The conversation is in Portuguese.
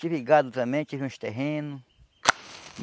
Tive gado também, tive uns terreno.